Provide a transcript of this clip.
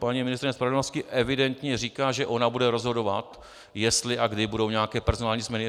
Paní ministryně spravedlnosti evidentně říká, že ona bude rozhodovat, jestli a kdy budou nějaké personální změny.